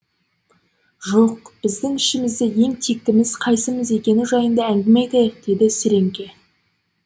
жоқ біз ішімізде ең тектіміз қайсымыз екені жайында әңгіме айтайық деді сіреңке